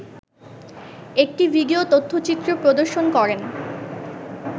একটি ভিডিও তথ্যচিত্র প্রদর্শন করেন